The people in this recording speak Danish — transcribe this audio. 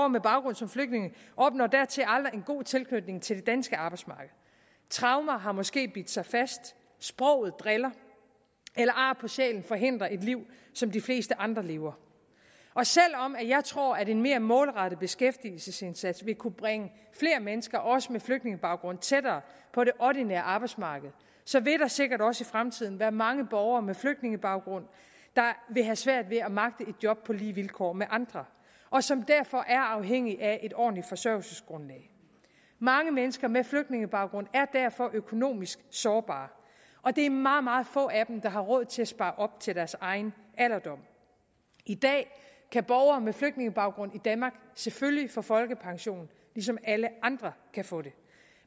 med baggrund som flygtninge opnår dertil aldrig en god tilknytning til det danske arbejdsmarked traumer har måske bidt sig fast sproget driller eller ar på sjælen forhindrer et liv som de fleste andre lever og selv om jeg tror at en mere målrettet beskæftigelsesindsats vil kunne bringe flere mennesker også med flygtningebaggrund tættere på det ordinære arbejdsmarked så vil der sikkert også i fremtiden være mange borgere med flygtningebaggrund der vil have svært ved at magte et job på lige vilkår med andre og som derfor er afhængige af et ordentligt forsørgelsesgrundlag mange mennesker med flygtningebaggrund er derfor økonomisk sårbare og det er meget meget få af dem der har råd til at spare op til deres egen alderdom i dag kan borgere med flygtningebaggrund i danmark selvfølgelig få folkepension ligesom alle andre kan få det